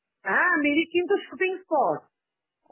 হ্যাঁ মিরিক কিন্তু shooting spot.